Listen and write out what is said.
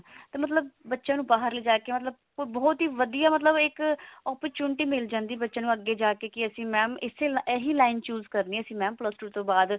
ਕਿ ਮਤਲਬ ਬੱਚਿਆਂ ਨੂੰ ਬਾਹਰ ਲਿਜਾ ਜੇ ਮਤਲਬ ਬਹੁਤ ਹੀ ਵਧੀਆ ਮਤਲਬ ਇੱਕ opportunity ਮਿਲ ਜਾਂਦੀ ਬੱਚਿਆਂ ਨੂੰ ਅੱਗੇ ਜਾ ਕਿ ਅਸੀਂ mam ਇਸੇ ਇਹੀ line choose ਕਰਨੀ ਹੈ mam plus two ਤੋਂ ਬਾਅਦ